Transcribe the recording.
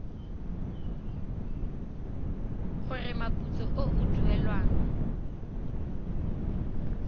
gore moputso o o duelwang